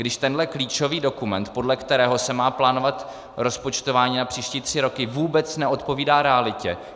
Když tenhle klíčový dokument, podle kterého se má plánovat rozpočtování na příští tři roky, vůbec neodpovídá realitě.